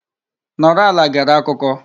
Nọrọ ala gere akụkọ.